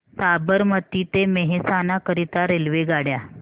साबरमती ते मेहसाणा करीता रेल्वेगाड्या